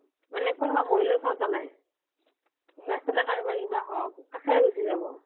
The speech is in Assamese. মানে কোনোবা মৰিলেও চাওটা নাই ৰাস্তাতে কাৰোবাৰ কি বা হওঁক কাষেৰে গুছি যাব